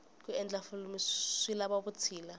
ku endla filimu swi lava vutshila